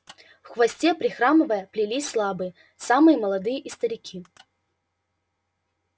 в хвосте прихрамывая плелись слабые самые молодые и старики